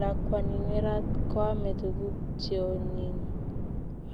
Lakwani nerat koame tuguk cheonyiny